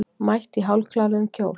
Mætti í hálfkláruðum kjól